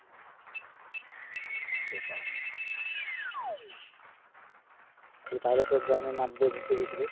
সেটাই তাহলে তো গ্রামের মাঠ দিয়ে ঘুরতে গেছিলিস?